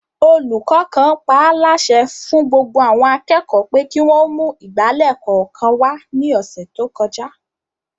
Olùkọ́ kan paálásẹ fún gbogbo àwọn akẹ́kọ̀ọ́ pé kí wọ́n ó mú ìgbálẹ̀ kọ̀ọ̀kan wá ní ọ̀sẹ̀ tó kọjá